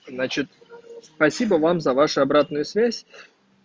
значит спасибо вам за вашу обратную связь